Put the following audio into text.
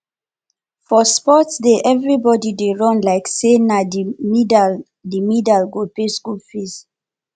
for sports day everybody dey run like say na the medal the medal go pay school fees